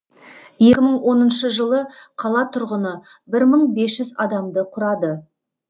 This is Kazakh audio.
екі мың оныншы жылы қала тұрғыны бір мың бес жүз адамды құрады